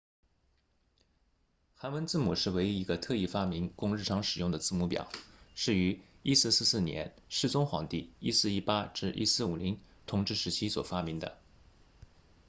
韩文字母是唯一一个特意发明供日常使用的字母表是于1444年世宗皇帝1418 1450统治时期所发明的